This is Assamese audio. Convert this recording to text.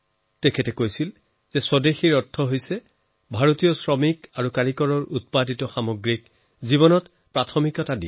তেওঁ কৈছিলো স্বদেশীৰ অৰ্থ হৈছে আমি নিজৰ ভাৰতীয় কামিলা কাৰিকৰৰ দ্বাৰা নিৰ্মিত বস্তুক অগ্ৰাধিকাৰ দিব লাগে